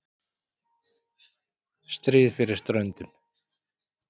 Stríð fyrir ströndum.